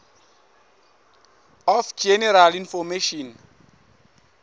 of general information